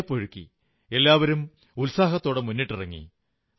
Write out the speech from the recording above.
വിയർപ്പൊഴുക്കി എല്ലാവരും ഉത്സാഹത്തോടെ മുന്നിട്ടിറങ്ങി